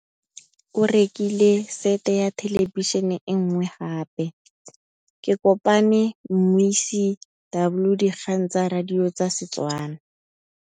Rre o rekile sete ya thêlêbišênê e nngwe gape. Ke kopane mmuisi w dikgang tsa radio tsa Setswana.